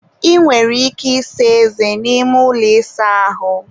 ị nwere ike ịsa eze n'ime ụlọ ịsa ahụ